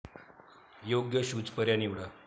योग्य शूज पर्याय निवडा.